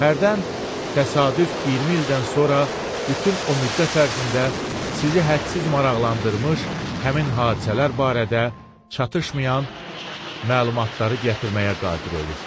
Hərdən təsadüf 20 ildən sonra bütün o müddət ərzində sizi hədsiz maraqlandırmış həmin hadisələr barədə çatışmayan məlumatları gətirməyə qadir olur.